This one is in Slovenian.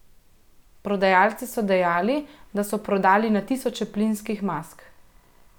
Prodajalci so dejali, da so prodali na tisoče plinskih mask.